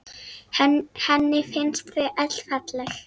Henni finnst þau öll falleg.